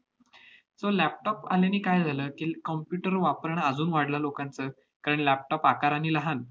so laptop आल्याने काय झालं की, computer वापरणं अजून वाढलं लोकांचं. कारण laptop आकाराने लहान